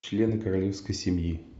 члены королевской семьи